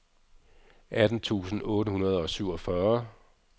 atten tusind otte hundrede og syvogfyrre